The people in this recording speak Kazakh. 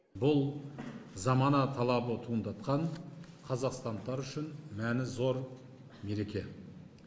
бұл замана талабы туындатқан қазақстандықтар үшін мәні зор мереке